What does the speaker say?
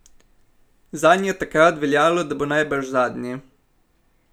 Zanj je takrat veljalo, da bo najbrž zadnji.